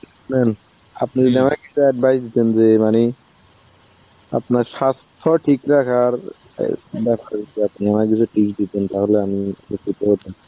আপনি advice দিতেন যে মানে আপনার স্বাস্থ্য ঠিক রাখার অ্যাঁ ব্যাপার. আপনি আমায় যদি tips দিতেন তাহলে আমি একটু করতাম.